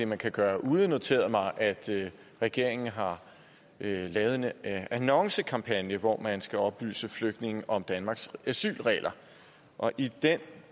man kan gøre ude noteret mig at regeringen har lavet en annoncekampagne hvor man skal oplyse flygtninge om danmarks asylregler og i den